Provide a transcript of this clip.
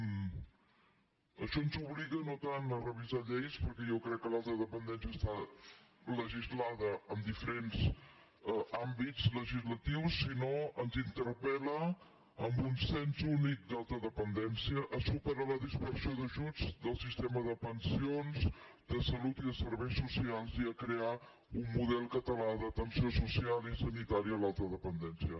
un això ens obliga no tant a revisar lleis perquè jo crec que l’alta dependència està legislada en diferents àmbits legislatius sinó que ens interpel·la amb un cens únic d’alta dependència a superar la dispersió d’ajuts del sistema de pensions de salut i de serveis socials i a crear un model català d’atenció social i sanitària a l’alta dependència